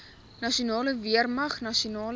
nasionale weermag nasionale